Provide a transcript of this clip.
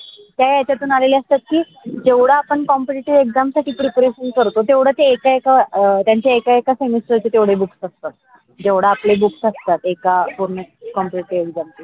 त्या याच्या तू आलेल्या असतात कि जेवडा आपण competitive exam साठी preparation करतो तेवढ एका एका semester तेवढे book असतात. जेवडे आपले book असतात एका पूर्ण competitive exam चे